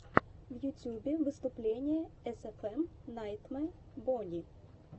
в ютьюбе выступление эсэфэм найтмэ бонни